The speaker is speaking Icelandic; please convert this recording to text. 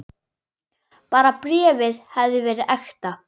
Bara bréfið hefði verið ekta!